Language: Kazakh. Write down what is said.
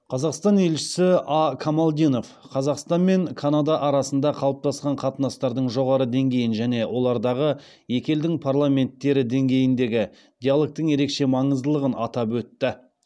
қазақстан елшісі а камалдинов қазақстан мен канада арасында қалыптасқан қатынастардың жоғары деңгейін және олардағы екі елдің парламенттері деңгейіндегі диалогтың ерекше маңыздылығын атап өтті